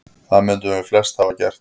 Það mundum við flest hafa gert.